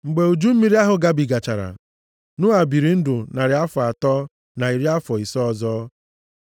Mgbe uju mmiri ahụ gabigachara, Noa biri ndụ narị afọ atọ na iri afọ ise ọzọ.